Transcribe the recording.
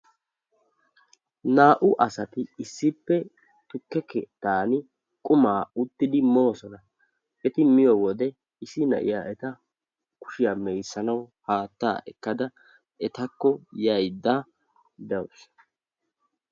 Naa"u asati issippe tukke keettani uttidi qumaa moosona. Eti miyo wode issi na'iya eta mee'issanawu haattaa ekkada etakko yaydda dawusu.